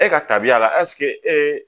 E ka tabiya la ee